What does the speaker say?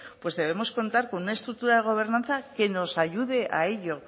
pues debemos contar con una estructura de gobernanza que nos ayude a ello